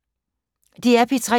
DR P3